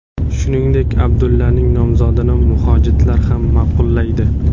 Shuningdek, Abdullaning nomzodini mujohidlar ham ma’qullaydi.